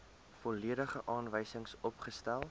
volledige aanwysings opgestel